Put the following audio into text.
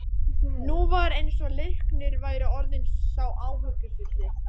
Nú var eins og Leiknir væri orðinn sá áhyggjufulli.